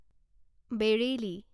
Bareilly